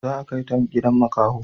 Za a kaita gidan makaho